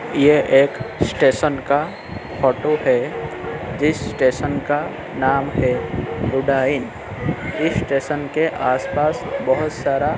यह एक स्टेशन का फोटो है जिस स्टेशन का नाम है रुदायन इस स्टेशन के आसपास बहुत सारा --